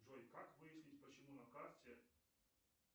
джой как выяснить почему на карте